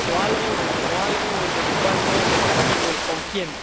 O algo, o el cómo algo, o el desde cuándo, o el para qué o el con quién.